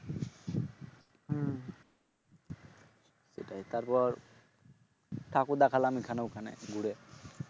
সেটাই তারপর ঠাকুর দেখালাম এখানে ওখানে ঘুরে